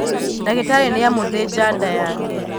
Ndagītarī nīamūthīnja nda yake